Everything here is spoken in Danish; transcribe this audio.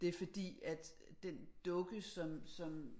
Det er fordi at den dukke som som